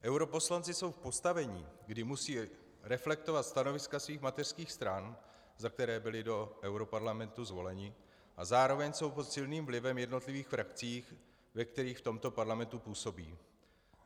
Europoslanci jsou v postavení, kdy musí reflektovat stanoviska svých mateřských stran, za které byli do europarlamentu zvoleni, a zároveň jsou pod silným vlivem jednotlivých frakcí, ve kterých v tomto parlamentu působí.